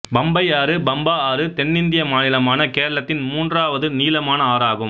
பம்பை ஆறு பம்பா ஆறு தென்னிந்திய மாநிலமான கேரளத்தின் மூன்றாவது நீளமான ஆறு ஆகும்